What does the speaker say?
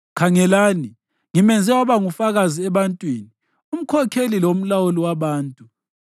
Khangelani, ngimenze waba ngufakazi ebantwini, umkhokheli lomlawuli wabantu.